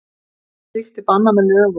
Slíkt er bannað með lögum